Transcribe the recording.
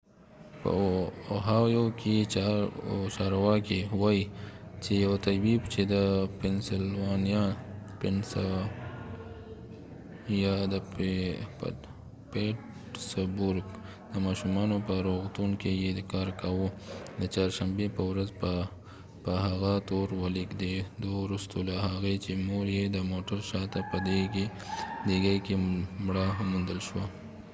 په اوهایو کې چارواکي وايي چي یو طبيب چې د پنسلوانیا د پیټسبورګ د ماشومانو په روغتون کې يې کار کاوه د چارشنبې په ورځ به په هغه تور ولګېد وروستو له هغې چي مور يي د موټر شا ته په ډيګئ کي مړه وموندل شوه